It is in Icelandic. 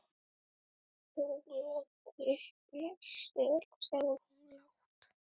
Sóla teikna sel, sagði hún lágt.